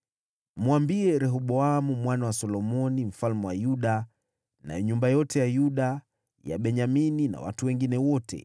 “Mwambie Rehoboamu mwana wa Solomoni mfalme wa Yuda, na nyumba yote ya Yuda na Benyamini, na watu wengine wote,